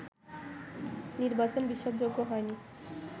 নির্বাচন ‘বিশ্বাসযোগ্য’ হয়নি